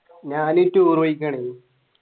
ഞാൻ Tour പോയിക്കേണ്